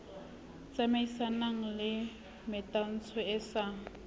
tsamaisanang le metantsho e sa